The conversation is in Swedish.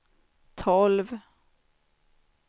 tolv